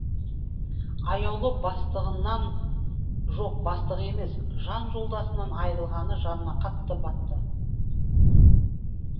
аяулы бастығынан жоқ бастығы емес жан жолдасынан айрылғаны жанына қатты батты